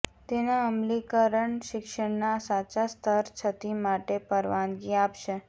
તેના અમલીકરણ શિક્ષણના સાચા સ્તર છતી માટે પરવાનગી આપશે